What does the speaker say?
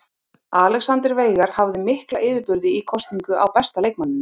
Alexander Veigar hafði mikla yfirburði í kosningu á besta leikmanninum.